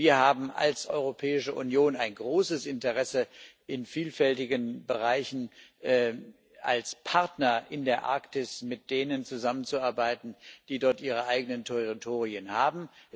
Wir haben als Europäische Union ein großes Interesse, in vielfältigen Bereichen als Partner in der Arktis mit denen zusammenzuarbeiten, die dort ihre eigenen Territorien haben.